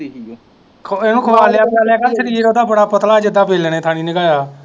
ਇਹਨੂੰ ਖਵਾਲੀਆ ਪੀਆਲਿਆ ਕਰ ਸ਼ਰੀਰ ਓਦਾ ਬੜਾ ਪਤਲਾ ਜੀਦਾ ਵੇਹਲਣੇ ਥਾਣੀ ਨੰਗਆਇਆ।